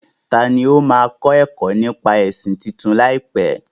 Tani ó máa máa kẹ́kọ̀ọ́ nípa ẹ̀sìn tuntun láìpẹ́?